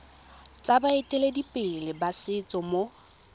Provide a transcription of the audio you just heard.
tsa baeteledipele ba setso mo